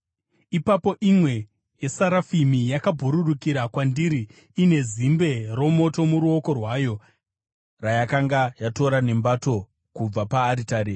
Ipapo imwe yesarafimi yakabhururukira kwandiri ine zimbe romoto muruoko rwayo, rayakanga yatora nembato kubva paaritari.